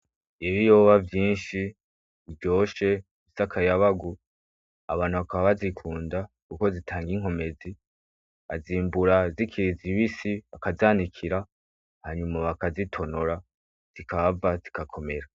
Ibiyoba vyinshi biryoshe bifise akayabagu, abantu bakaba bazikunda kuko zitanga inkomedi. Bazimbura zikiri zibisi bakazanikira hanyuma bakazitonora zikahava zigakomera.